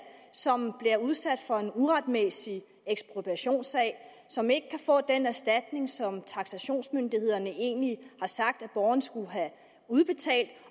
som bliver udsat for en uretmæssig ekspropriationssag som ikke kan få den erstatning som tanksationsmyndighederne egentlig sagt at borgeren skulle have udbetalt